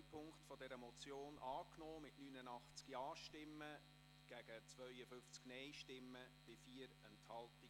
Sie haben Punkt 2 der Motion angenommen mit 89 Ja- gegen 52 Nein-Stimmen bei 4 Enthaltungen.